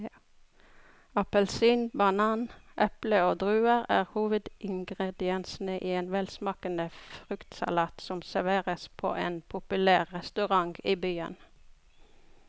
Appelsin, banan, eple og druer er hovedingredienser i en velsmakende fruktsalat som serveres på en populær restaurant i byen.